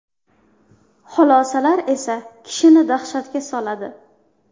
Xulosalar esa kishini dahshatga soladi.